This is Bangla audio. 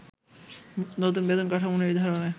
নতুন বেতন কাঠামো নির্ধারণে